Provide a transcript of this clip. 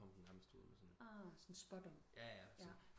Så kom den nærmest ud med sådan en jaja